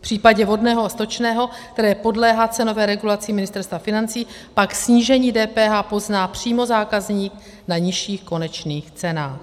V případě vodného a stočného, které podléhá cenové regulaci Ministerstva financí, pak snížení DPH pozná přímo zákazník na nižších konečných cenách.